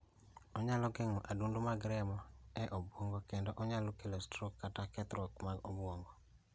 Onyalo geng'o adundo mag remo e obwongo kendo nyalo kelo strok kata kethruok mar obwongo